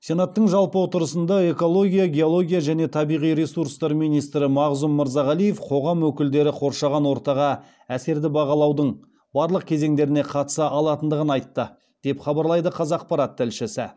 сенаттың жалпы отырысында экология геология және табиғи ресурстар министрі мағзұм мырзағалиев қоғам өкілдері қоршаған ортаға әсерді бағалаудың барлық кезеңдеріне қатыса алатындығын айтты деп хабарлайды қазақпарат тілшісі